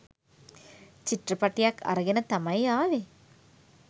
චිත්‍රපටියක් අරගෙන තමයි ආවේ.